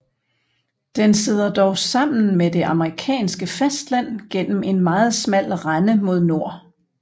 Den sidder dog sammen med det amerikanske fastland gennem en meget smal rende mod nord